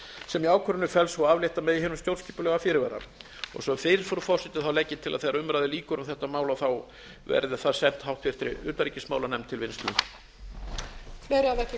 sem í ákvörðuninni felst svo að aflétta megi hinum stjórnskipulega fyrirvara sem fyrr frú forseti legg ég til að þegar umræðu lýkur um þetta mál verði það sent háttvirtri utanríkismálanefnd til vinnslu